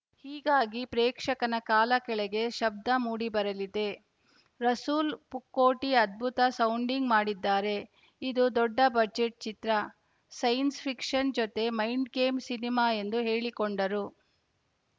ಹೀಗಾಗಿ ಪ್ರೇಕ್ಷಕನ ಕಾಲ ಕೆಳಗೆ ಶಬ್ದ ಮೂಡಿಬರಲಿದೆ ರಸೂಲ್‌ ಪೂಕುಟ್ಟಿಅದ್ಭುತ ಸೌಂಡಿಂಗ್‌ ಮಾಡಿದ್ದಾರೆ ಇದು ದೊಡ್ಡ ಬಜೆಟ್‌ ಚಿತ್ರ ಸೈನ್ಸ್‌ ಫಿಕ್ಷನ್‌ ಜತೆ ಮೈಂಡ್‌ಗೇಮ್‌ ಸಿನಿಮಾ ಎಂದು ಹೇಳಿಕೊಂಡರು